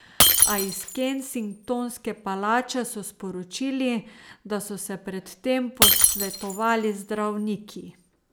A iz Kensingtonske palače so sporočili, da so se pred tem posvetovali z zdravniki.